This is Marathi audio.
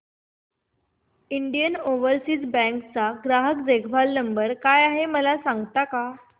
इंडियन ओवरसीज बँक चा ग्राहक देखभाल नंबर काय आहे मला सांगता का